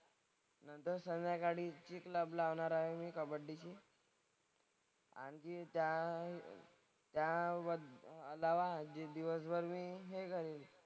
नंतर संध्याकाळी gym club लावणार आहे कबड्डीची. आणखीन त्या त्या दिवसभर मी हे करीन.